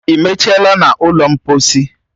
I mechala n'ụlọ mposi?